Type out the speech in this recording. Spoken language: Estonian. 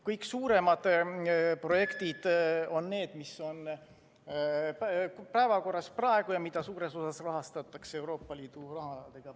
Kõik suuremad projektid on need, mis on praegu päevakorral ja mida suures osas rahastatakse Euroopa Liidu rahaga.